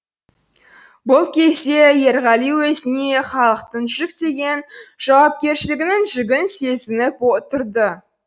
бұл кезде ерғали өзіне халықтың жүктеген жауапкершілігінің жүгін сезініп тұрды